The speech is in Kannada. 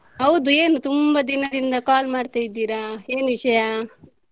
ಹೌದು ಏನು ತುಂಬಾ ದಿನದಿಂದ call ಮಾಡ್ತಾ ಇದ್ದೀರಾ ಏನ್ ವಿಷಯ?